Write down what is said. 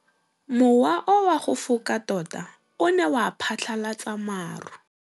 Mowa o wa go foka tota o ne wa phatlalatsa maru.